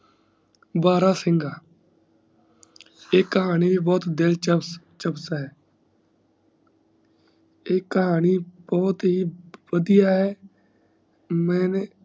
ਬੜਾ ਸਿੰਘਾਂ ਏਹ ਕਹਾਣੀ ਵੀ ਬਹੁਤ ਦਿਲਚਪ ਹੈ ਇਹ ਕਹਾਣੀ ਬਹੁਤ ਹੀ ਬੜੀਆਂ ਹੈ ਮੈਂ